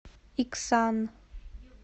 иксан